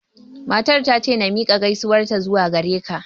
Matar ta ce na miƙa gaisuwar ta zuwa gare ka